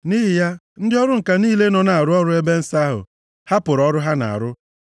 Nʼihi ya, ndị ọrụ ǹka niile nọ na-arụ ọrụ nʼebe nsọ ahụ hapụrụ ọrụ ha na-arụ,